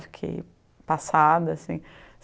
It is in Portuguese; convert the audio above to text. Fiquei passada, assim.